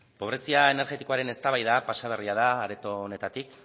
pobrezia energetikoaren eztabaida pasa berria da areto honetatik